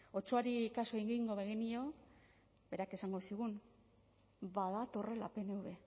otsoari kasu egingo bagenio berak esango zigun badatorrela pnv